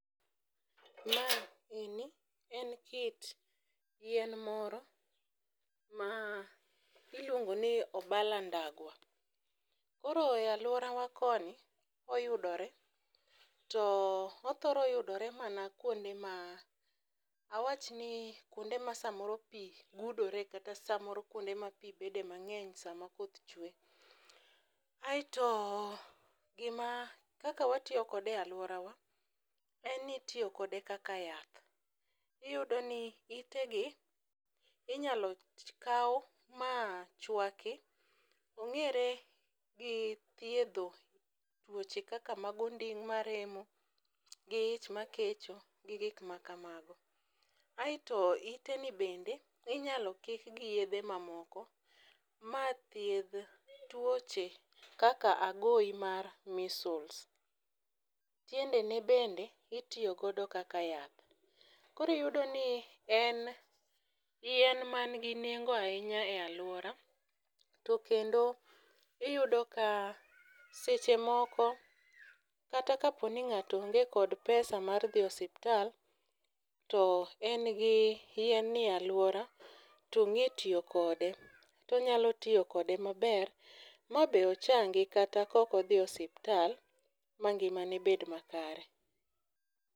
Ma eni en kit yien moro ma iluongo ni obala ndagwa. Koro e aluora wa koni oyudore. To othoro yudore mana kuonde ma awach ni kuonde ma samoro pii gudore kata samoro kuonde ma pii bede mang'eny sama koth chwe .Aeto gima kaka watiyo kode e luorawa en ni itiyo kode kaka yath. Iyudo ni itegi inyalo kawu ma chwaki ong'ere gi thiedho weche kaka mag onding' maremo gi ich makecho gi gik makamago . Aeto ite ni bende inyalo kik gi yedhe mamoko ma thiedh tuoche kaka agoyi mar measles. Tiende ne bende itiyo godo kaka yath. Kori yudo ni en yien man gi nengo ahinya e luora to kendo iyudo ka seche moko kata kaponi ng'ato onge kod pesa mar dhi e osiptal to en gi yien ni eluora tong'e tiyo kode tonyalo tiyo kode maber ma be ochangi kata kokodhi e osiptal ma ngima ne bed makare.